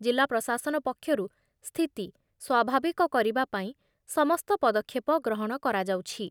ଜିଲ୍ଲା ପ୍ରଶାସନ ପକ୍ଷରୁ ସ୍ଥିତି ସ୍ଵାଭାବିକ କରିବା ପାଇଁ ସମସ୍ତ ପଦକ୍ଷେପ ଗ୍ରହଣ କରାଯାଉଛି।